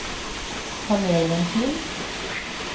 panelventil